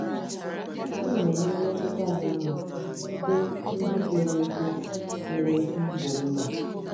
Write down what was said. M̀ na-enwe mmetụta dị mma n'ebe ndị kwere ekwe kwere ekwe ibe m nọ?